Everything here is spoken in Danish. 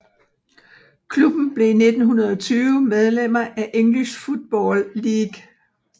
Klubben blev i 1920 medlemmer af English Football League